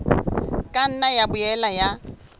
ka nna ya boela ya